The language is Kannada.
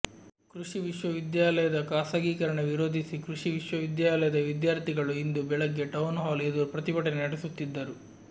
ಕೃಷಿ ವಿಶ್ವವಿದ್ಯಾಲಯದ ಖಾಸಗೀಕರಣ ವಿರೋಧಿಸಿ ಕೃಷಿ ವಿಶ್ವವಿದ್ಯಾಲಯದ ವಿಧ್ಯಾರ್ಥಿಗಳು ಇಂದು ಬೆಳಗ್ಗೆ ಟೌನ್ ಹಾಲ್ ಎದುರು ಪ್ರತಿಭಟನೆ ನಡೆಸುತ್ತಿದ್ದರು